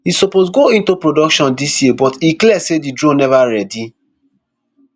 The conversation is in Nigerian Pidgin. e suppose go into production dis year but e clear say di drone neva ready